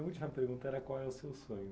Minha última pergunta era qual é o seu sonho.